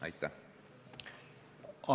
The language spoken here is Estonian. Aitäh!